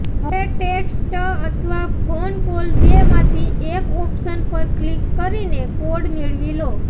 હવે ટેક્સ્ટ અથવા phone call બે માંથી એક ઓપ્શન પર ક્લિક કરીને કોડ મેળવી લો